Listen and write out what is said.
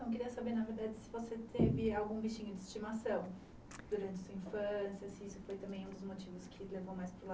Eu queria saber, na verdade, se você teve algum bichinho de estimação durante sua infância, se isso foi também um dos motivos que levou mais para o lado